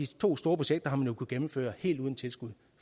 to store projekter har man jo kunnet gennemføre helt uden tilskud